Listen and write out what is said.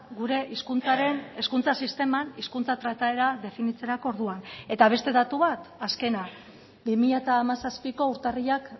gure hizkuntzaren hezkuntza sisteman hizkuntza trataera definitzerako orduan eta beste datu bat azkena bi mila hamazazpiko urtarrilak